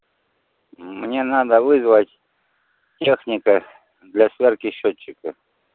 мне надо вызвать техника для сверки счётчиков